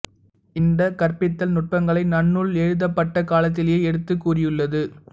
இந்த கற்பித்தல் நுட்பங்களை நன்னூல் எழுதப்பட்டக் காலத்திலேயே எடுத்துக் கூறியுள்ளது